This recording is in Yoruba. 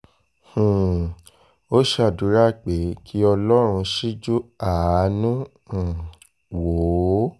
um ó ṣàdúrà pé kí ọlọ́run ṣíjú àánú um wò ó